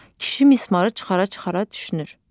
Kişi mismarı çıxara-çıxara düşünür.